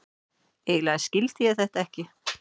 Eiginlega skildi ég þetta ekki.